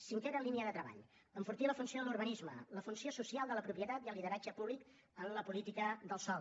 cinquena línia de treball enfortir la funció de l’urbanisme la funció social de la propietat i el lideratge públic en la política del sòl